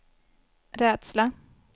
rädsla